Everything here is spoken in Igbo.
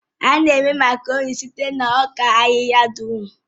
A na-eme Makaroni site na ọka ahịhịa durọ̀m